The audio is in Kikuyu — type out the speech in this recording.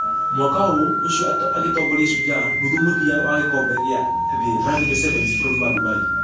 Mwaka ũũ ũcio agĩtongoria shujaa .....nuthu mũthia wa gĩkobe gĩa thĩ rugby sevens bũrũri wa dubai.